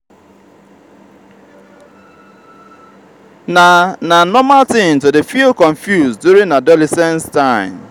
na na normal tin to dey feel confused during adolescence time.